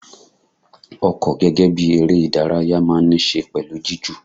Ọkọ gẹ́gẹ́ bí eré ìdárayá máa ń ní ṣe pẹ̀lú jiju.